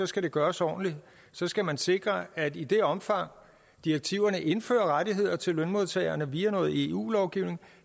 skal det gøres ordentligt så skal man sikre at i det omfang direktiverne indfører rettigheder til lønmodtagerne via noget eu lovgivning